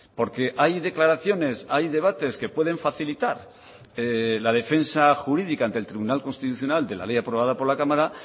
porque hay declaraciones hay debates que pueden facilitar la defensa jurídica ante el tribunal constitucional de la ley aprobada por la cámara